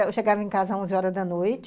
Eu chegava em casa às onze horas da noite,